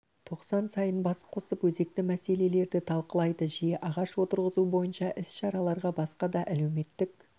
тоқсан сайын бас қосып өзекті мәселелерді талқылайды жиі ағаш отырғызу бойынша іс-шараларға басқа да әлеуметтік